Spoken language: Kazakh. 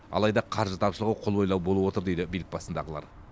алайда қаржы тапшылығы қолбайлау болып отыр дейді билік басындағылар